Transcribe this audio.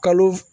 Kalo